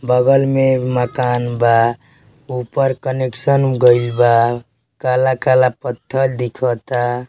बगल मे मकान बा। ऊपर कनेक्शन गइल बा। काला-काला पत्थर दिखता।